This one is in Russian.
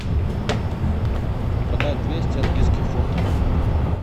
продать двести английских фунтов